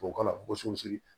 Tubabukan na ko sunsiri